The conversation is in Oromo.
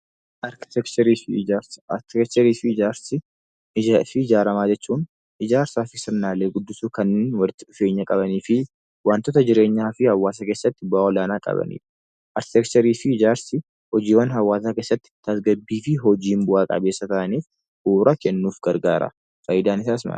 Arkiteekcharii fi ijaarsa. Arkiteekcharii fi ijaarsi ijaarsi sirnaalee gurguddoo kanneen walitti dhufeenya qabanii fi wantoota jireenya dhala namaa fi hawwaasa keessatti bu'aa olaanaa qabanii dha. Arkiteekcharii fi ijaarsi hojiiwwan hawwaasaa keessatti tasgabbii fi hojiiwwan bu'aa qabeessaa ta'anii bu'uuraa kennuuf kan gargaaraniidha. Faayidaan isaas maal?